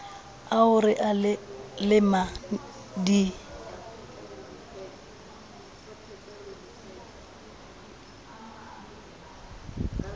ao re a lemang di